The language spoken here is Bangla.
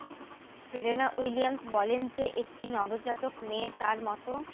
সেরেনা উইলিয়ামস বলেন যে একটি নবজাতক মেয়ে তার মত